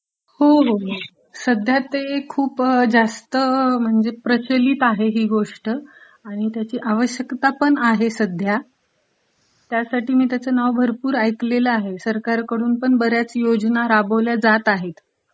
हो हो ....सध्या ते